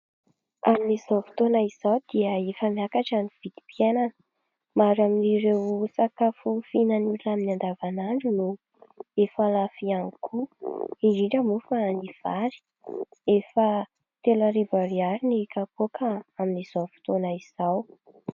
Amin'izao fotoana izao dia efa miakatra ny vidim-piainana, maro amin'ireo sakafo fihinanan'ny olona amin'ny andavanandro no efa lafo ihany koa indrindra moa fa ny vary, efa telo arivo ariary ny kapoaka amin'izao fotoana izao.